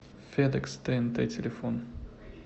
фэдэкс тээнтэ телефон